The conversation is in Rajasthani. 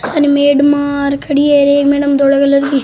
अन मेडमा र खड़ी है एक मेडम धोला कलर की --